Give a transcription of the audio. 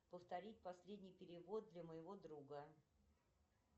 повторить последний перевод для моего друга